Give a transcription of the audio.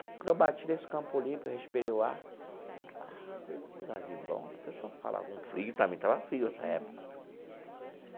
Quando eu bati nesse Campo Limpo, respirei o ar, falei que lugarzinho bom, o pessoal fala, um frio também, estava frio essa época.